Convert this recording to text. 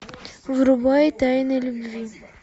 врубай тайны любви